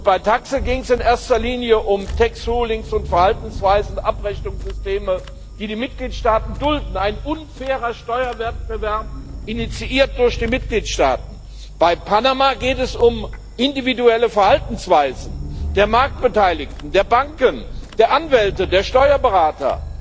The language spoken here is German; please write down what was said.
Bei TAXE ging es in erster Linie um tax rulings und Verhaltensweisen, Abrechnungssysteme, die die Mitgliedstaaten dulden ein unfairer Steuerwettbewerb, initiiert durch die Mitgliedstaaten. Bei Panama geht es um individuelle Verhaltensweisen der Marktbeteiligten, der Banken, der Anwälte, der Steuerberater,